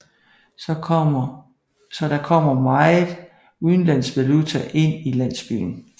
Så der kommer meget udlands valuta ind i landsbyen